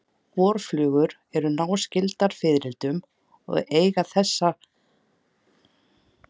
Vorflugur eru náskyldar fiðrildum og eiga þessir ættbálkar sameiginlegan forföður.